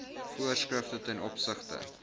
voorskrifte ten opsigte